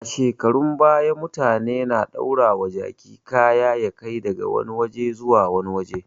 A shekarun baya, mutane na daurawa jaki kaya ya kai daga wani waje zuwa wani waje.